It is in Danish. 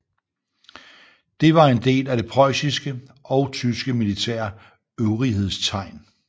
Det var en del af det preussiske og tyske militære øvrighedstegn